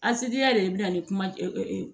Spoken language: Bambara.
yɛrɛ de bɛna ni kuma